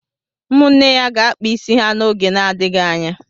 Ụmụnne ya ga-akpa isi ha n'oge na-adịghị anya.